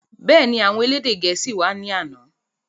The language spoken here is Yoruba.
Bẹ́ẹ̀ni, àwọn elédè gẹ̀ẹ́sì wá ní àná